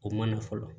O ma na fɔlɔ